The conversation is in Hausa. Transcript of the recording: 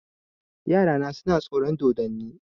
Yarana suna tsoron dodonni.